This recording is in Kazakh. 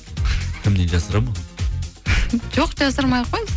кімнен жасырамын оны жоқ жасырмай ақ қойыңыз